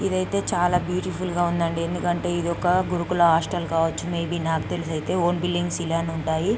ఇది అయితే చాలా బ్యూటిఫుల్ గా ఉందండి. ఎందుకంటే ఇది ఒక గురుకుల హాస్టల్ కావచ్చు. మే బి నాకు తెలిసి అయితే. ఓన్ బిల్డింగ్స్ ఇలానే ఉంటాయి.